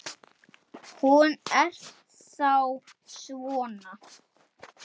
Hún er þá svona!